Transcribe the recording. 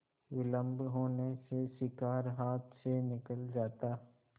विलम्ब होने से शिकार हाथ से निकल जाता